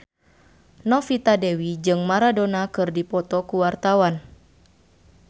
Novita Dewi jeung Maradona keur dipoto ku wartawan